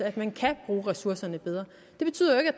at man kan bruge ressourcerne bedre det betyder jo ikke